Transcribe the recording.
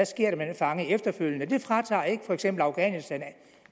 sker med den fange efterfølgende det fratager ikke for eksempel afghanistan